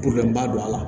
ba don a la